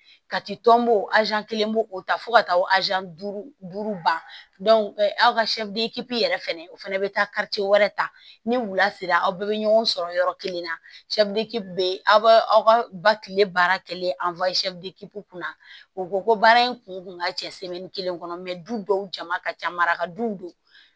Ka ti tɔnbɔ kelen b'o o ta fo ka taa o duuru duuru banki yɛrɛ fɛnɛ o fana bɛ taa wɛrɛ ta ni wula sera aw bɛɛ bɛ ɲɔgɔn sɔrɔ yɔrɔ kelen na bee aw b'a aw ka ba kile baara kɛ kunna u ko ko baara in kun ka cɛ kelen kɔnɔ du dɔw jama ka ca maraka duw don